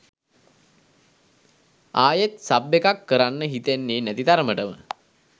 ආයෙත් සබ් එකක් කරන්න හිතෙන්නෙ නැති තරමටම.